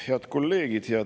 Head kolleegid!